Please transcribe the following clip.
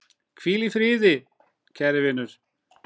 Hvíl í friði, kæri vinur!